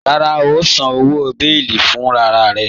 Rárá, ó ǹ sàn owo bẹ̀ẹlí fúnrararẹ̀